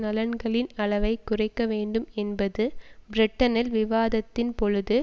நலன்களின் அளவை குறைக்க வேண்டும் என்பது பிரிட்டனில் விவாதத்தின் பொழுது